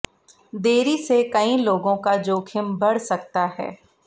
देरी से कई लोगों का जोखिम बढ़ सकता है